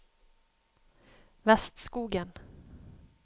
Vestskogen